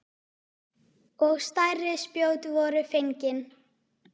Og stærri spjót voru fengin.